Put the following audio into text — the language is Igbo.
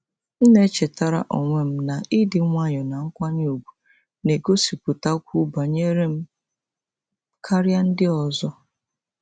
M na-echetara onwe m na ịdị nwayọọ na nkwanye ùgwù na-egosipụtakwu banyere m karịa ndị ọzọ.